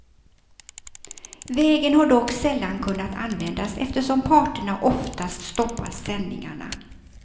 Vägen har dock sällan kunnat användas eftersom parterna oftast stoppat sändningarna.